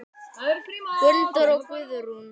Gunndór og Guðrún.